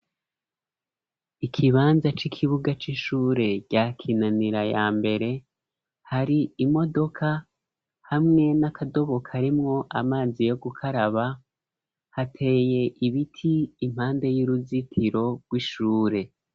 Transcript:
Ikibanza c'ikibuga c'ishure rya kinanira ya mbere hari imodoka hamwe n'akadobokaremwo amazi yo gukaraba hateye ibiti impande y'uruzitiro rw'ishure.